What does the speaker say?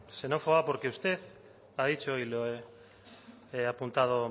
xenófoba porque usted ha dicho y lo he apuntado